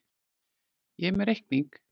Ég er með reikning.